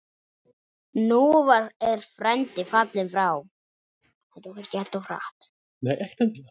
Nú er frændi fallinn frá.